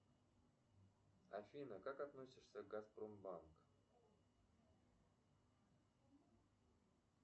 афина как относишься к газпромбанк